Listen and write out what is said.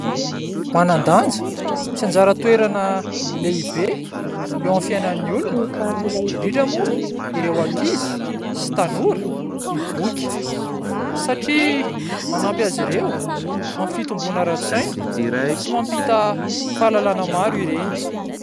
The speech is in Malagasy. Manan-danja sy anjara toerana lehibe eo amin'ny fiainan'ny olona, indrindra moa ireo ankizy sy tanora ny boky satria manampy azy ireo amin'ny fitombona ara-tsaina sy mampita fahalalana maro ireny.